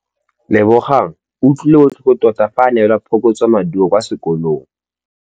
Lebogang o utlwile botlhoko tota fa a neelwa phokotsômaduô kwa sekolong.